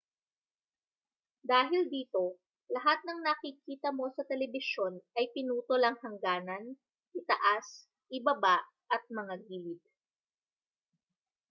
dahil dito lahat ng nakikita mo sa telebisyon ay pinutol ang hangganan itaas ibaba at mga gilid